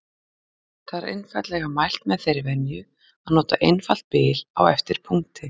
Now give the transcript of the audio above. Þar er einfaldlega mælt með þeirri venju að nota einfalt bil á eftir punkti.